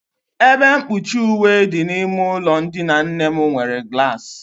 Ebe mkpuchi uwe dị n'ime ụlọ ndina nne m nwere glaasị.